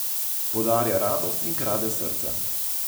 Podarja radost in krade srca.